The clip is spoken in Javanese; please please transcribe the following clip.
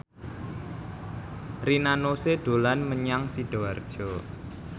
Rina Nose dolan menyang Sidoarjo